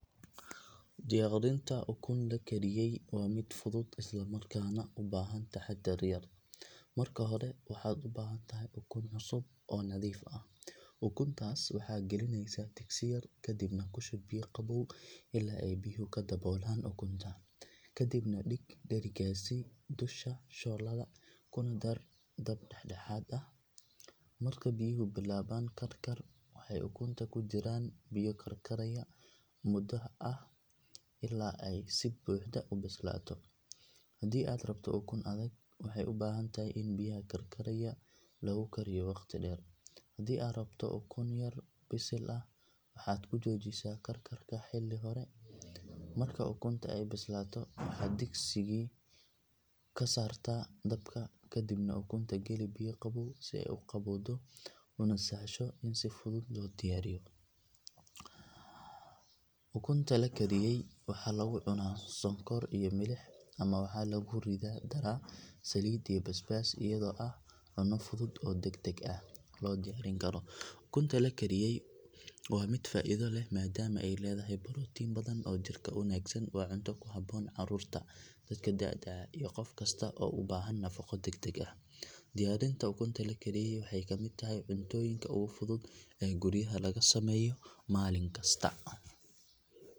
Diyaarinta ukun la kariyay waa mid fudud isla markaana u baahan taxaddar yar. Marka hore waxaad u baahan tahay ukun cusub oo nadiif ah. Ukuntaas waxaad gelinaysaa digsi yar kadibna ku shub biyo qabow ilaa ay biyuhu ka daboolaan ukunta. Kadibna dhig dherigaasi dusha shooladda kuna daar dab dhexdhexaad ah. Marka biyuhu bilaabaan karkar waxay ukunta ku jiraan biyo karkaraya muddo ah ilaa ay si buuxda u bislaato. Haddii aad rabto ukun adag, waxay u baahan tahay in biyaha karkaraya lagu kariyo waqti dheer. Haddii aad rabto ukun yar bisil ah waxaad ku joojisaa karkarka xilli hore. Marka ukunta ay bislaato waxaad digsigii ka saartaa dabka kadibna ukunta geli biyo qabow si ay u qabowdo una sahasho in si fudud loo diiriyo. Ukunta la kariyay waxaa lagu cunaa sonkor iyo milix ama waxaa lagu daraa saliid iyo basbaas iyadoo ah cunno fudud oo degdeg loo diyaarin karo. Ukunta la kariyay waa mid faa’iido leh maadaama ay leedahay borotiin badan oo jirka u wanaagsan. Waa cunto ku habboon carruurta, dadka da’da ah iyo qof kasta oo u baahan nafaqo degdeg ah. Diyaarinta ukunta la kariyay waxay ka mid tahay cuntooyinka ugu fudud ee guryaha laga sameeyo maalin kasta.